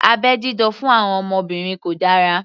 Abẹ́ dídá fún àwọn obìnrin kò dára